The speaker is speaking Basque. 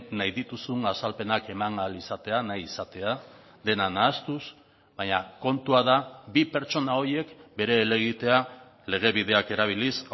nahi dituzun azalpenak eman ahal izatea nahi izatea dena nahastuz baina kontua da bi pertsona horiek bere helegitea legebideak erabiliz